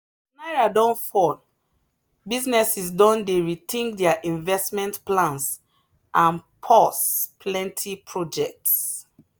as naira don fall businesses don dey rethink their investment plans and pause plenty projects.